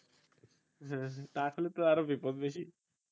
হ্যাঁ হ্যাঁ টাক হলে তো আরও বিপদ বেশি